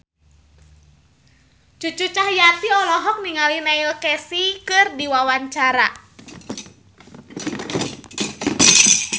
Cucu Cahyati olohok ningali Neil Casey keur diwawancara